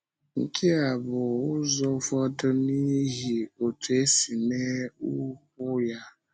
Nke a bụ n’ụzọ ụfọdụ n’ihi otú e si mee ụkwụ ya.